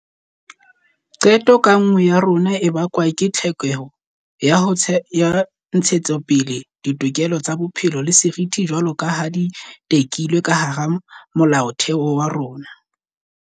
Qeto ka nngwe ya rona e bakwa ke tlhokeho ya ho ntshetsapele ditokelo tsa bophelo le seriti jwaloka ha di tekilwe ka hara Molaotheo wa rona.